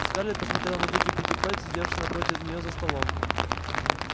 скарлетт посмотрела на тётю питтипэт сидевшую напротив нее за столом